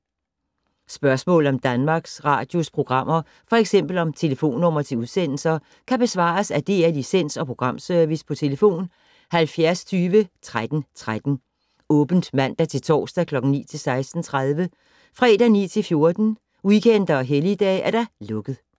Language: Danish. Spørgsmål om Danmarks Radios programmer, f.eks. om telefonnumre til udsendelser, kan besvares af DR Licens- og Programservice: tlf. 70 20 13 13, åbent mandag-torsdag 9.00-16.30, fredag 9.00-14.00, weekender og helligdage: lukket.